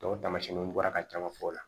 o tamasiyɛnw bɔra ka caman fɔ o la